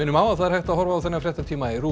á að það er hægt að horfa á þennan fréttatíma í RÚV